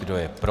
Kdo je pro?